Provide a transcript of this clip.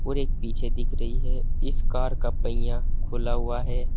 और एक पीछे दिख रही है इस कार का पहिया खुला हुआ है।